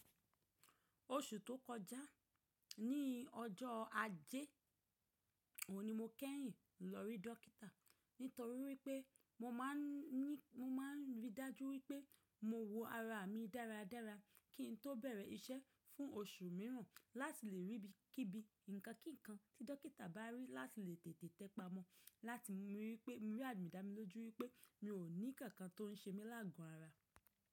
Oṣù tó kọjá ní ọjọ́ ajé òní mo kẹ́yìn lọ rí dọ́kítà, nítorí wípé mo máa ń ní, mo máa ń rí dájú wípé mo wo ara mi dáradára kí n tó bẹ̀rẹ̀ iṣẹ́ fún oṣù mìíràn láti lè rí bí kí bi nǹkan kínkan tí dọ́kítà bá rí láti lè tètè tẹpamo láti mi rí pé mo rí adùná mi lójú wípé mi ò ní kankan tó ń ṣe mí láàgù ara.